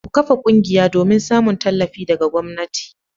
Ku kafa ƙungiya domin samun tallafi daga gwamnati.